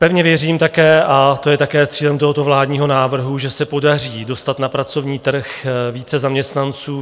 Pevně věřím také - a to je také cílem tohoto vládního návrhu - že se podaří dostat na pracovní trh více zaměstnanců.